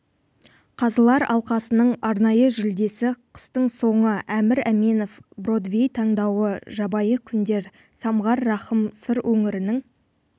қазылар алқасының арнайы жүлдесі қыстың соңы әмір әменов бродвей таңдауы жабайы күндер самғар рахым сыр өңірінің